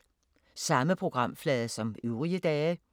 Samme programflade som øvrige dage